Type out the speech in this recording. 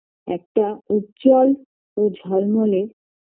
একটা উজ্জ্বল ও ঝলমলে